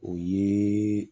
O ye